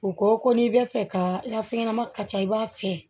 U ko ko n'i bɛ fɛ ka i ka fɛn ɲɛnama ka ca i b'a fiyɛ